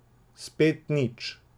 Spet nič.